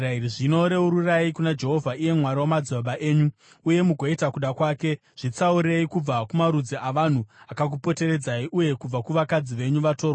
Zvino reururai kuna Jehovha, iye Mwari wamadzibaba enyu, uye mugoita kuda kwake. Zvitsaurei kubva kumarudzi avanhu akakupoteredzai uye kubva kuvakadzi venyu vatorwa.”